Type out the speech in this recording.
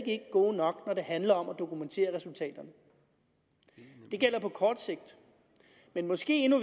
ikke gode nok når det handler om at dokumentere resultaterne det gælder på kort sigt men måske endnu